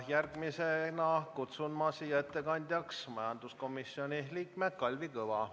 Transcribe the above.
Järgmisena kutsun ettekandjaks majanduskomisjoni liikme Kalvi Kõva.